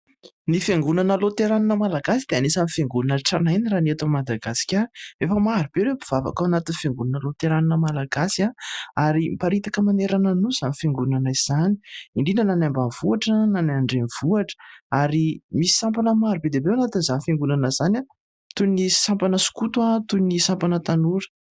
Ny Fiangonana Loterana Malagasy dia anisan'ny fiangonana tranainy raha ny eto Madagasikara, efa marobe ireo mpivavaka ao anatin'ny Fiangonana Loterana Malagasy ary miparitaka manerana ny nosy izany fiangonana izany, indrindra na any ambanivohitra na ny any an-drenivohitra ary misy sampana maro be ao anatin' izany fiangonana izany : toy ny sampana skoto, toy ny sampana tanora.